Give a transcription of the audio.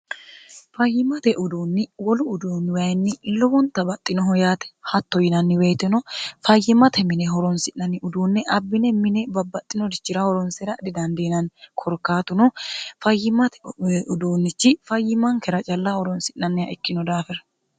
fayyimate uduunni wolu uduunni wayinni lowonta baxxinoho yaate hatto yinanni woyiteno fayyimate mine horonsi'nanni uduunne abbine mine babbaxxinorichira horonsera dhidandiinanni korkaatuno fayyimate uduunnichi fayyimankera calla horonsi'nanniha ikkino daafira